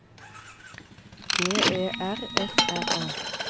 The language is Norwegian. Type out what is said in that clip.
D E R F R A